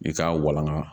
I k'a walanga